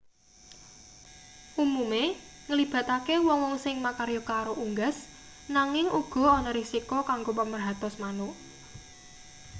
umume nglibatake wong-wong sing makarya karo unggas nanging uga ana risiko kanggo pamerhatos manuk